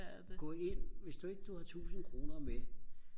gå ind hvis du ikke du har tusind kroner med